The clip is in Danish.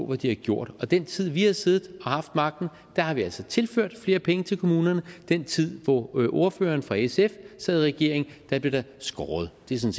hvad de har gjort i den tid vi har siddet og haft magten har vi altså tilført flere penge til kommunerne i den tid hvor ordføreren fra sf sad i regering blev der skåret det